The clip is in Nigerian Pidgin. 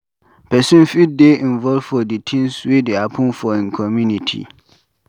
Person fit dey involved for di things wey dey happen for im community